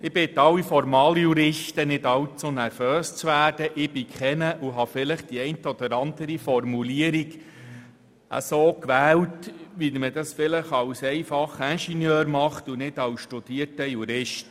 Ich bitte alle Formaljuristen, nicht allzu nervös zu werden, denn ich bin keiner und habe vielleicht die eine oder andere Formulierung so gewählt, wie man dies als einfacher Ingenieur tut und nicht als studierter Jurist.